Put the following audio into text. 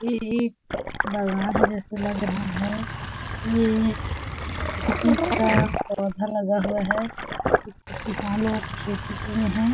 ये एक बगान जैसा लग रहा है येह किसी चीज़ का पौधा लगा हुआ है कुछ-कुछ किसान लोग खेती किये है।